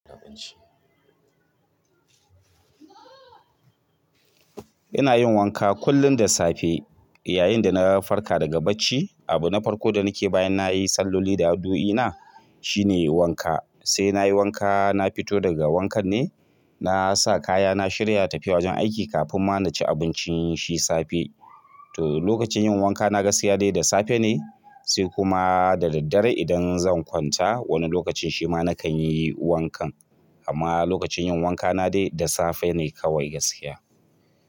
Ina yin wanka kullin da safe yayin da na farka daga bacci. Abu na farko da nake bayan na yi salloli da addu'ina shine wanka. Se na yi wanka na fito daga wankan ne na sa kaya na shirya tafiya wajen aiki kafin ma na ci abuncin shi safe to lokacin yin wanka na gaskiya dai da safe ne se kuma da daddare idan zan kwanta, wani lokacin shi ma na kan yi wankan. Amma lokacin yin wanka na dai da safe ne kawai gaskiya.